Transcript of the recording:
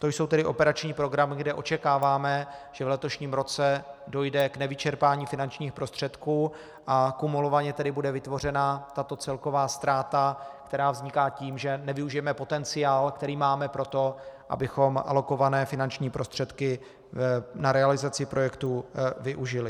To jsou tedy operační programy, kde očekáváme, že v letošním roce dojde k nevyčerpání finančních prostředků, a kumulovaně tedy bude vytvořena tato celková ztráta, která vzniká tím, že nevyužijeme potenciál, který máme pro to, abychom alokované finanční prostředky na realizaci projektů využili.